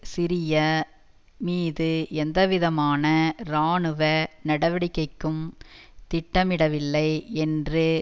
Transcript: சிரிய மீது எந்தவிதமான இராணுவ நடவடிக்கைக்கும் திட்டமிடவில்லை என்று